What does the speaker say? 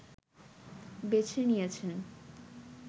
বেছে নিয়েছেন